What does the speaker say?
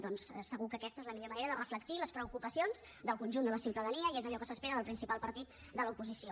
doncs segur que aquesta és la millor manera de reflectir les preocupacions del conjunt de la ciutadania i és allò que s’espera del principal partit de l’oposició